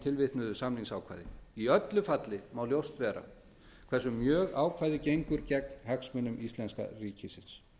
tilvitnuðu samningsákvæði í öllu falli má ljóst vera hversu mjög ákvæðið gengur gegn hagsmunum íslenska ríkisins